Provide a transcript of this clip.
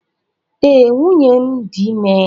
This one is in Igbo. Ee, nwunye m dị ime.